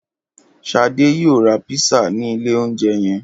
Ṣadé yóò ra písà ní ilé-oúnjẹ yẹn.